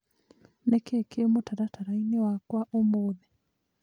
Nĩ kĩĩ kĩĩ mũtaratara-inĩ wakwa ũmũthĩ.?